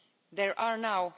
There are now